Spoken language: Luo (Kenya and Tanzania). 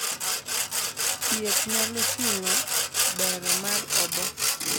thieth nyalo ting'o bero mar obo